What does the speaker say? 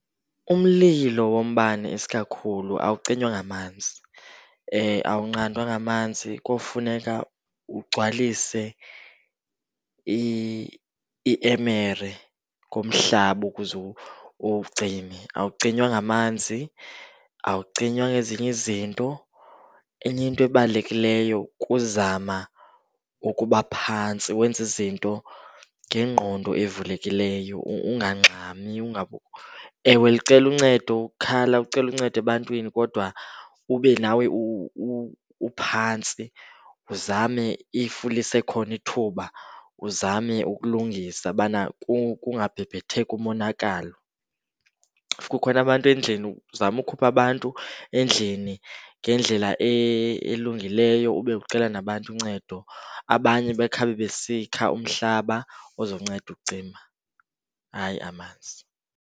Umlilo wombane isikakhulu awucinywa ngamanzi, awunqandwa ngamanzi. Kofuneka ugcwalise iemere ngomhlaba ukuze uwucime. Awucinywa ngamanzi, awucinywa ngezinye izinto. Enye into ebalulekileyo kuzama ukuba phantsi wenze izinto ngengqondo evulekileyo ungangxami . Ewe, licele uncedo, khala ucele uncedo ebantwini kodwa ube nawe uphantsi. Uzame if lisekhona ithuba, uzame ukulungisa ubana kungabhebhetheki umonakalo. If kukhona abantu endlini, uzame ukukhupha abantu endlini ngendlela elungileyo ube ucela nabantu uncedo. Abanye bakhabe besikha umhlaba ozonceda ukucima, hayi amanzi.